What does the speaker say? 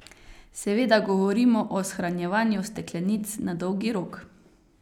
Seveda govorimo o shranjevanju steklenic na dolgi rok.